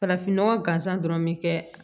Farafinnɔgɔ gansan dɔrɔn bɛ kɛ